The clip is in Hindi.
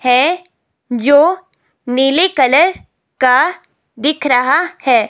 है जो नीले कलर का दिख रहा है।